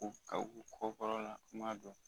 U ka u kɔ don